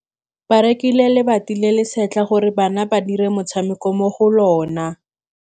Ba rekile lebati le le setlha gore bana ba dire motshameko mo go lona.